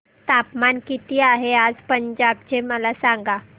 तापमान किती आहे आज पंजाब चे मला सांगा